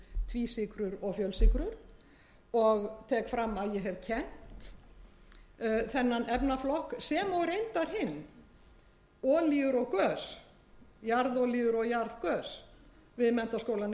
í einsykrur tvísykrur og fjölsykrur og tek fram að ég hef kennt þennan efnaflokk sem og reyndar hinn olíur og gös jarðolíur og jarðgös við menntaskólann